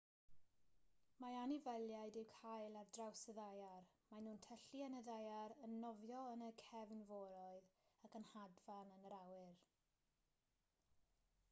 mae anifeiliaid i'w cael ar draws y ddaear maen nhw'n tyllu yn y ddaear yn nofio yn y cefnforoedd ac yn hedfan yn yr awyr